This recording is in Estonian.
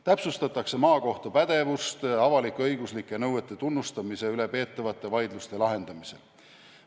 Täpsustatakse maakohtu pädevust avalik-õiguslike nõuete tunnustamise üle peetavate vaidluste lahendamisel.